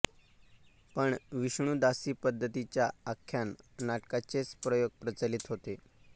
पण विष्णुदासी पद्धतीच्या आख्यान नाटकांचेच प्रयोग प्रचलित होते